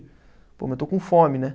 Pô, mas eu estou com fome, né?